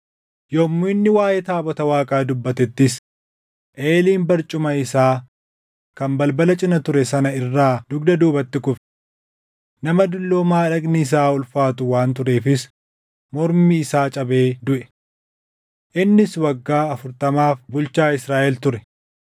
Yommuu inni waaʼee taabota Waaqaa dubbatettis, Eeliin barcuma isaa kan balbala cina ture sana irraa dugda duubatti kufe. Nama dulloomaa dhagni isaa ulfaatu waan tureefis mormi isaa cabee duʼe. Innis waggaa afurtamaaf bulchaa Israaʼel ture.